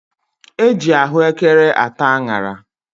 E ji ahụekere ata añara.